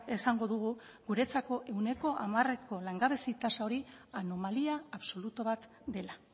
esango dugu guretzako ehuneko hamarreko langabezia tasa hori anomalia absolutu bat dela